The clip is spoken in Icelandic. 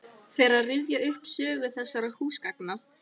Fer að rifja upp sögu þessara húsgagna.